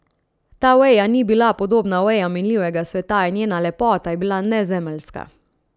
Ta veja ni bila podobna vejam minljivega sveta in njena lepota je bila nezemeljska.